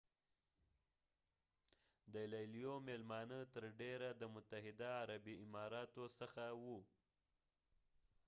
د لیلیو میلمانه تر ډیره د متحده عربي امارتو څخه وو